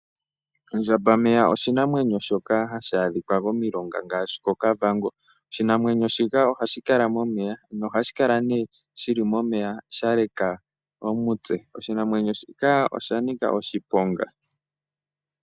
Ondjambameya oshinamwenyo shoka hashi adhika momilonga ngaashi kOkavango. Oshinamwenyo shika ohashi kala momeya nohashi kala nee shi li momeya sha leka omutse. Oshinamwenyo shika osha nika oshiponga.